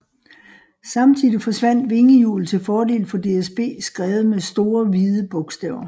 Samtidig forsvandt vingehjulet til fordel for DSB skrevet med store hvide bogstaver